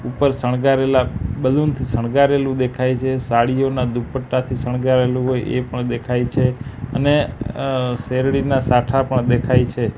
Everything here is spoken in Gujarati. ઉપર સણગારેલા બલૂન થી સણગારેલું દેખાય છે સાડીઓના દુપટ્ટાથી સણગાવેલું હોય એ પણ દેખાય છે અને અ શેરડીના સાઠા પણ દેખાય છે.